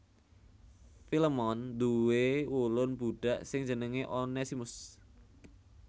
Filemon nduwé ulun budhak sing jenengé Onesimus